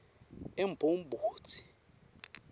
emgobodzi